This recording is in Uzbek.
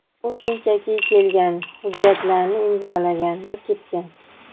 U shunchaki kelgan, hujjatlarni imzolagan va ketgan.